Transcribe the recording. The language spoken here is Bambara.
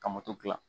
Ka moto dilan